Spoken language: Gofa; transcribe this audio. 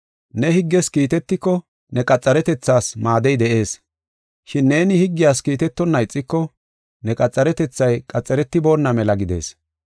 Ne higges kiitetiko, ne qaxaretethaas maadey de7ees, shin neeni higgiyas kiitetonna ixiko ne qaxaretethay qaxaretiboona mela gidees.